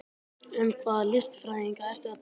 Um hvaða listfræðinga ertu að tala?